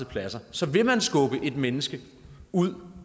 pladser så vil man skubbe et menneske ud